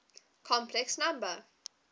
complex number